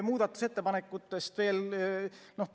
Muudatusettepanekutest veel.